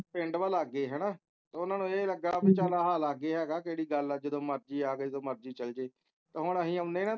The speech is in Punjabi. ਪਿੰਡ ਵਾ ਲਾਗੇ ਹੈਨਾ ਤੇ ਓਹਨਾ ਨੂੰ ਏ ਲੱਗਾ ਏ ਲਾਗੇ ਹੈਗਾ ਕਿਹੜੀ ਗੱਲ ਹੈ ਜਦੋ ਮਰਜ਼ੀ ਆਵੇ ਜਦੋ ਮਰਜ਼ੀ ਚਲ ਜਾਵੇ ਤੇ ਹੁਣ ਅਸੀਂ ਆਉਂਦੇ ਹਾਂ